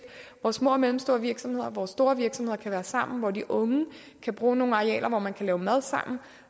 hvor små og mellemstore virksomheder og store virksomheder kan være sammen og hvor de unge kan bruge nogle arealer hvor man kan lave mad sammen